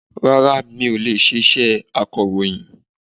Rárá mi ò lè ṣe iṣẹ́ akọ̀rọ̀yìn